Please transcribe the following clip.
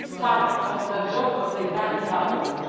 It's part of the job of the Italian government.